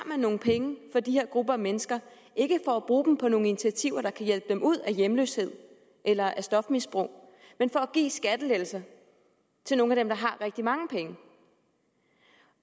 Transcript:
man nogle penge fra de her grupper af mennesker ikke for at bruge dem på nogle initiativer der kan hjælpe dem ud af hjemløshed eller af stofmisbrug men for at give skattelettelser til nogle af dem der har rigtig mange penge